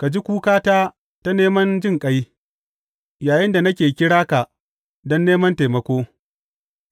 Ka ji kukata ta neman jinƙai yayinda nake kira ka don neman taimako,